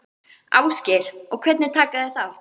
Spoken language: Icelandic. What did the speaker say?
Ásgeir: Og hvernig taka þeir þátt?